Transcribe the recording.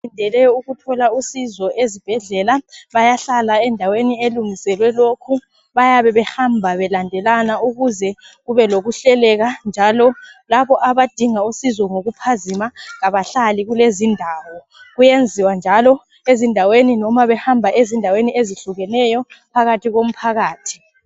Abalindele ukuzuza usizo esibhedlela, bayahlala endaweni ekungiselwe lokhu. Bayabe behamba belandelana, ukuze kube lokuhleleka, njalo labo abadinga usizo ngokuphazima kabahlali kulezi indawo. Kuyenziwa njalo, loba behamba endaweni ezihlukeneyo, phakathi komphakathi.